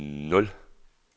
nul